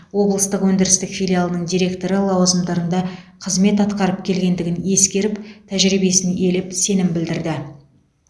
облыстық өндірістік филиалының директоры лауазымдарында қызмет атқарып келгендігін ескеріп тәжірибесін елеп сенім білдірді